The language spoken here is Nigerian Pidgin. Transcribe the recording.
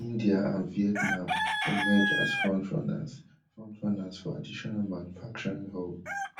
india and vietnam emerge as front runners front runners for additional manufacturing hubs